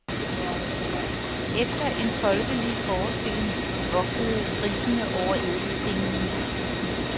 Efter en folkelig forestilling vogtede griffene over ædelstene.